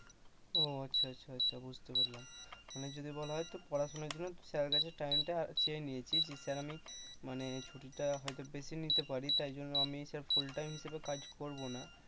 ও আচ্ছা আচ্ছা বুঝতে পারলাম মানে যদি বলা হয় তো পড়াশোনার জন্য তুই sir কাছ থেকে time টা চেয়ে নিয়েছিস এই কারণে যে স্যার আমি মানে ছুটিটা হয়তো বেশি নিতে পারি তাই জন্য আমি full time হিসেবে কাজ করব না,